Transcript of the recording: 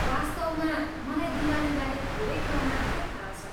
वास्तवमा, मलाई दिवालीबारे थोरै कुरा मात्रै थाहा छ।